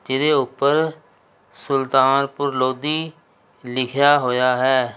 ਜਿਹਦੇ ਉੱਪਰ ਸੁਲਤਾਨਪੁਰ ਲੋਧੀ ਲਿਖਿਆ ਹੋਇਆ ਹੈ।